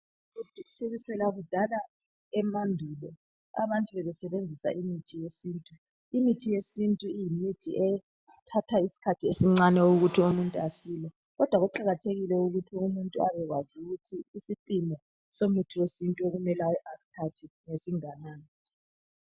Kusukusela kudala emandulo abantu bebesebenzisa imithi yesintu. Imithi yesintu iyimithi ethatha isikhathi esincane ukuthi umuntu asile kodwa kuqakathekile ukuthi umuntu abekwazi ukuthi isisindo somuthi wesintu okumele asithathe singanani.